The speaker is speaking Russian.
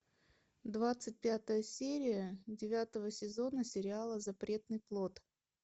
двадцать пятая серия девятого сезона сериала запретный плод